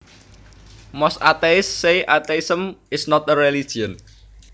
Most atheists say atheism is not a religion